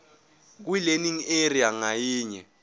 kwilearning area ngayinye